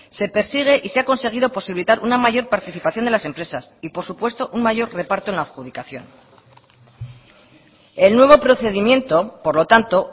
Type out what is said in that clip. se persigue y se ha conseguido posibilitar una mayor participación de las empresas y por supuesto un mayor reparto en la adjudicación el nuevo procedimiento por lo tanto